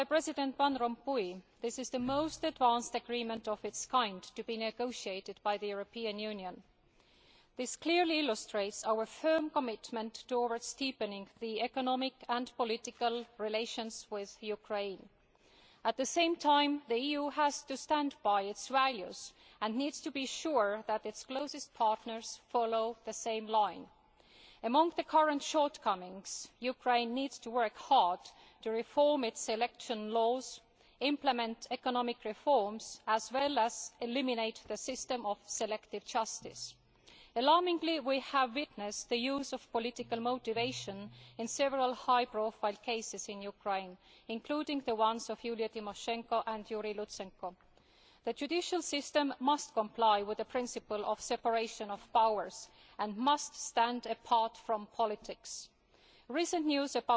As President Van Rompuy said, this is the most advanced agreement of its kind to be negotiated by the European Union. This clearly illustrates our firm commitment to deepening economic and political relations with Ukraine. At the same time, the EU has to stand by its values and needs to be sure that its closest partners will follow the same line. Among its current shortcomings, Ukraine needs to work hard to reform its election laws, implement economic reforms and eliminate its system of selective justice. Alarmingly, we have witnessed the use of political motivations in several high profile cases in Ukraine, including those of Yulia Tymoshenko and Yuriy Lutsenko. The judicial system must comply with the principle of separation of powers and must stand apart from politics. The recent